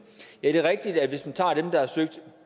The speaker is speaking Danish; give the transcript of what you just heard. det er rigtigt at hvis man tager dem der har søgt